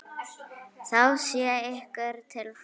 Það sé ykkur til fæðu.